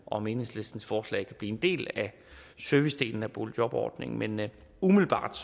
om enhedslistens forslag blive en del af servicedelen af boligjobordningen men umiddelbart